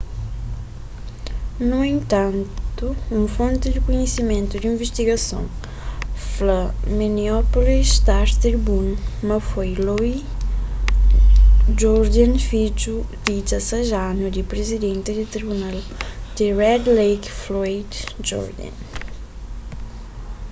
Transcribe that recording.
nu entantu un fonti ku kunhisimentu di invistigason fla minneapolis star-tribune ma foi louis jourdain fidju di 16 anu di prizidenti di tribunal di red lake floyd jourdain